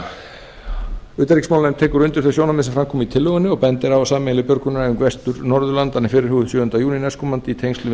tekur undir þau sjónarmið sem fram komu í tillögunni og bendir á að sameiginleg björgunaræfing vestur norðurlandanna er fyrirhuguð sjöunda júní næstkomandi í tengslum við